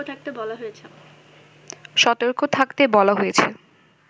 সতর্ক থাকতে বলা হয়েছে